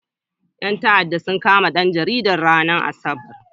Ƴan ta'addan sun kama ɗan jaridan, ranar asabar.